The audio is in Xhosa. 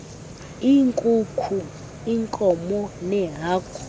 iinkukhu iinkomo neehagu